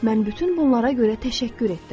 Mən bütün bunlara görə təşəkkür etdim.